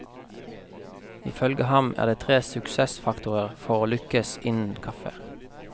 Ifølge ham er det tre suksessfaktorer for å lykkes innen kaffe.